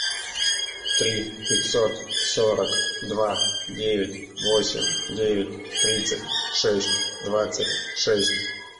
три пятьсот сорок два девять восемь девять тридцать шесть двадцать шесть